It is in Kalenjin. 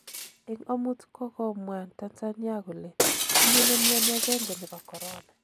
Eng omut kokomwan Tanzania kole tinye nemioni agenge nebo corona.